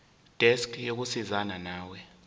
desk yokusizana nawe